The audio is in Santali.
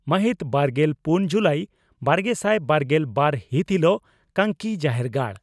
ᱢᱟᱹᱦᱤᱛ ᱵᱟᱨᱜᱮᱞ ᱯᱩᱱ ᱡᱩᱞᱟᱤ ᱵᱟᱨᱜᱮᱥᱟᱭ ᱵᱟᱨᱜᱮᱞ ᱵᱟᱨ ᱦᱤᱛ ᱦᱤᱞᱚᱜ ᱠᱟᱝᱠᱤ ᱡᱟᱦᱮᱨᱜᱟᱲ